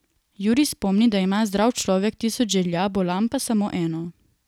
Jurij spomni, da ima zdrav človek tisoč želja, bolan pa samo eno.